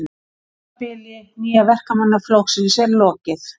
Tímabili Nýja Verkamannaflokksins er lokið